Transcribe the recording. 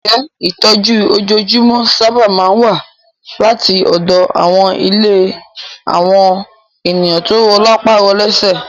Ǹjẹ́ ìtọ́jú ojoojúmọ́ sáábà máa ń wá láti ọ̀dọ̀ àwọn ilé àwọn ènìyàn tó rọ lápá rọ lésẹ̀?